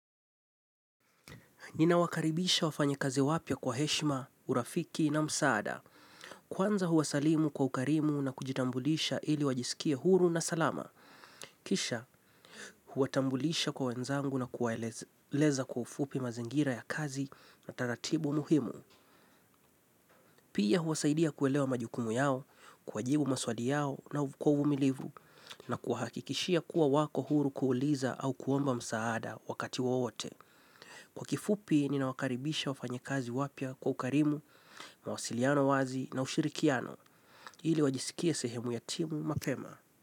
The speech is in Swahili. Ninawakaribisha wafanyakazi wapya kwa heshima, urafiki na msaada. Kwanza huwasalimu kwa ukarimu na kujitambulisha ili wajisikie huru na salama. Kisha huwatambulisha kwa wenzangu na kuwaeleza kwa ufupi mazingira ya kazi na taratibu muhimu. Pia husaidia kuelewa majukumu yao, kuwajibu maswali yao na kwa uvumilivu na kuhakikishia kuwa wako huru kuuliza au kuomba msaada wakati wowote. Kwa kifupi ninawakaribisha wafanyakazi wapya kwa ukarimu, mawasiliano wazi na ushirikiano ili wajisikie sehemu ya timu mapema.